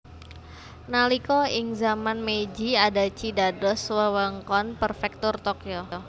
Nalika ing zaman Meiji Adachi dados wewengkon Prefektur Tokyo